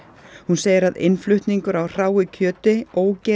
hún segir að innflutningur á hráu kjöti